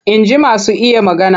Inji masu iya magana.